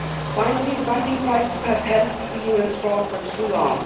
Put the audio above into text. Finally, the banking crisis has held the EU in thrall for too long.